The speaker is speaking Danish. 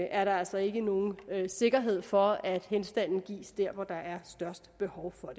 er der altså ikke nogen sikkerhed for at henstanden gives der hvor der er størst behov for